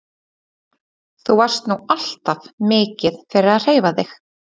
Þú varst nú alltaf mikið fyrir að hreyfa þig?